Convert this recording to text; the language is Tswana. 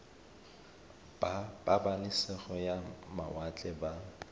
ba pabalesego ya mawatle ba